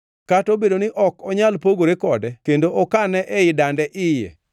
kata obedo ni ok onyal pogore kode kendo okane ei dande iye,